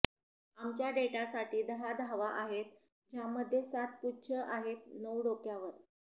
आमच्या डेटासाठी दहा धावा आहेत ज्यामध्ये सात पुच्छ आहेत नऊ डोक्यावर